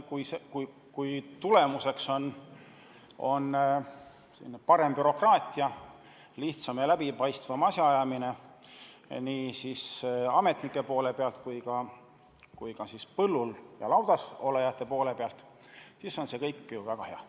Ja kui tulemuseks on parem bürokraatia, lihtsam ja läbipaistvam asjaajamine nii ametnike seisukohalt kui ka põllul või laudas olijate seisukohalt, siis on see ju väga hea.